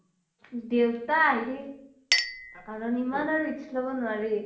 দেউতা আহি কাৰণ ইমান আৰু risk লব নোৱাৰি।